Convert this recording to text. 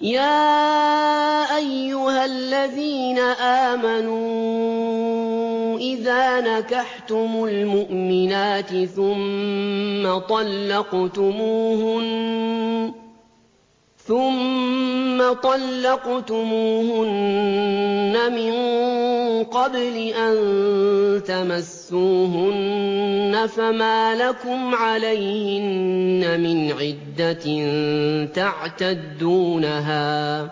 يَا أَيُّهَا الَّذِينَ آمَنُوا إِذَا نَكَحْتُمُ الْمُؤْمِنَاتِ ثُمَّ طَلَّقْتُمُوهُنَّ مِن قَبْلِ أَن تَمَسُّوهُنَّ فَمَا لَكُمْ عَلَيْهِنَّ مِنْ عِدَّةٍ تَعْتَدُّونَهَا ۖ